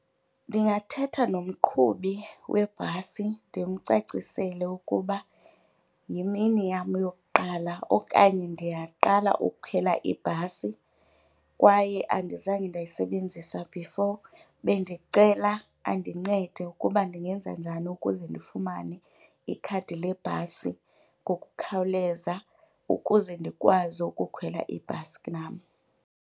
Ndingathetha nomqhubi webhasi ndimcacisele ukuba yimini yam yokuqala okanye ndiyaqala ukukhwela ibhasi kwaye andizange ndayisebenzisa before bendicela andincede ukuba ndingenza njani ukuze ndifumane ikhadi lebhasi ngokukhawuleza ukuze ndikwazi ukukhwela ibhasi nam.